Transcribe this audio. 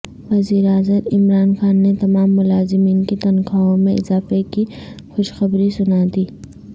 وزیر اعظم عمران خان نے تمام ملازمین کی تنخواہوں میں اضافے کی خوشخبری سنا دی